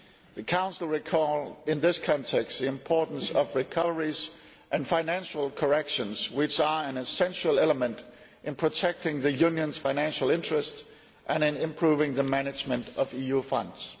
The Council recalls in this context the importance of recoveries and financial corrections which are an essential element in protecting the Union's financial interest and in improving the management of EU funds.